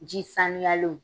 Ji sanuyalenw